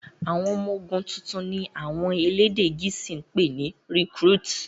àwọn ọmọ ogun títún ní wón àwọn elédè gèésì pé ní "recruit".